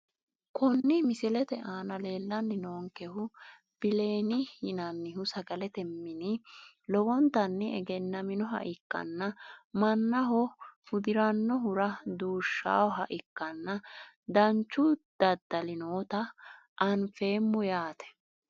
Kuni misilete aana leelani noonkehu bileeni yinanihu sagalete mini lowontani egenaminoha ikkana manaho hudirinohura duushawoha ikanna danchu dadali noota anfemo yaate.